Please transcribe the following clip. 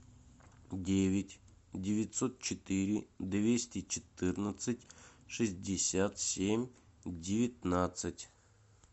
девять девятьсот четыре двести четырнадцать шестьдесят семь девятнадцать